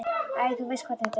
Æ, þú veist hvernig þetta er.